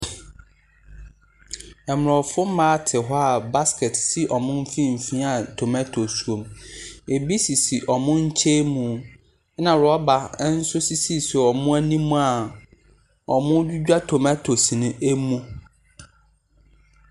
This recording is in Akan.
Aborɔfo mmaa te hɔ a basket si wɔn mfimfin a tomatoes wɔ mu, ebi sisi wɔn nkyɛn mu na rɔba nso sisisisi wɔn anim a wɔredwidwa tomatoes ne mu.